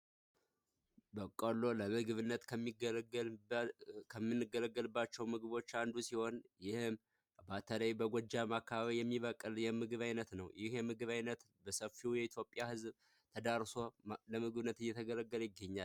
በቀሎ ለምግብነት ከምንገለገለባቸው ምግቦች አንዱ ሲሆን በተለይ በጎጃም አካባቢ የሚበቅል የምግብ ዓይነት ነው ይህ የምግብ ዓይነት በሰፊው የማህበረሰብ ክፍል ተዳርሶ የተገለገሉበት ይገኛል።